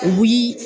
U bi